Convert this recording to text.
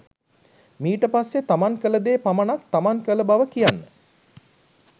මීට පස්සේ තමන් කළ දේ පමණක් තමන් කළ බව කියන්න.